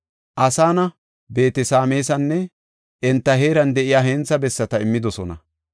Asana, Beet-Sameesanne enta heeran de7iya hentha bessata immidosona.